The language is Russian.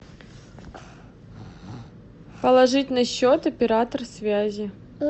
положить на счет оператор связи